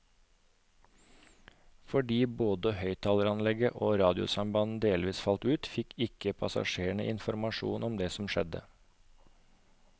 Fordi både høyttaleranlegg og radiosamband delvis falt ut, fikk ikke passasjerene informasjon om det som skjedde.